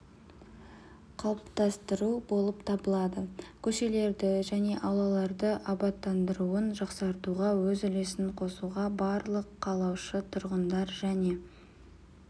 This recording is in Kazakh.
қалыптастыру болып табылады көшелерді және аулаларды абаттандыруын жақсартуға өз үлесін қосуға барлық қалаушы тұрғындар және